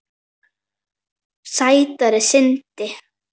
Sætra synda.